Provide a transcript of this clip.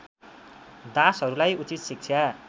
दासहरूलाई उचित शिक्षा